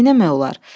Neynəmək olar?